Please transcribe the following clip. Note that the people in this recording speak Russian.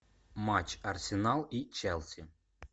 матч арсенал и челси